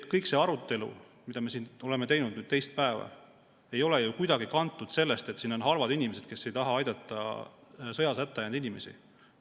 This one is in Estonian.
Kogu see arutelu, mida me siin oleme pidanud nüüd teist päeva, ei ole ju kuidagi kantud sellest, et siin on halvad inimesed, kes ei taha aidata sõjas hätta jäänud inimesi.